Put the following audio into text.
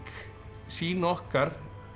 sýn okkar